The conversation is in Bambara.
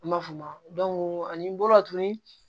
An b'a f'o ma ani n bɔra tuguni